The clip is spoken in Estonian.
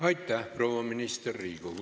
Aitäh, proua minister!